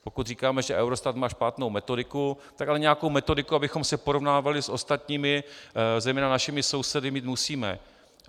Pokud říkáme, že Eurostat má špatnou metodiku, tak ale nějakou metodiku, abychom se porovnávali s ostatními, zejména našimi sousedy, mít musíme.